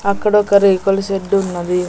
అక్కడొక రేకుల షెడ్డు ఉన్నది.